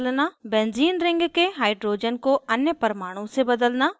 benzene ring के hydrogen को अन्य परमाणु से बदलना